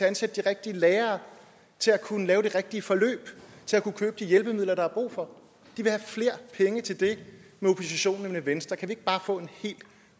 ansætte de rigtige lærere og til at kunne lave det rigtige forløb til at kunne købe de hjælpemidler der er brug for de vil have flere penge til det med oppositionen end med venstre kan vi ikke bare få en helt